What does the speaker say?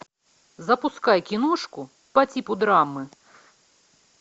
запускай киношку по типу драмы